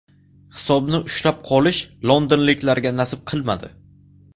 Hisobni ushlab qolish londonliklarga nasib qilmadi.